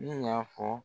Ne y'a fɔ